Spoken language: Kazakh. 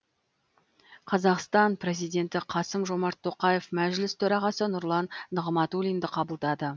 қазақстан президенті қасым жомарт тоқаев мәжіліс төрағасы нұрлан нығматулинді қабылдады